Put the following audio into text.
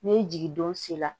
Ni jigindon sera